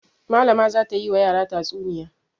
Malama za ta yi wa yara tatsuniya.